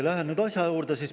Lähen nüüd asja juurde.